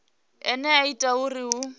ine ya ita uri hu